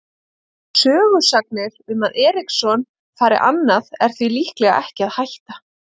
Sögusagnir um að Eriksson fari annað er því líklega ekki að hætta.